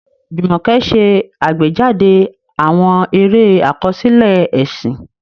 Jumoke ṣe àgbéjáde àwọn eré àkọsílẹ̀ ẹ̀sìn.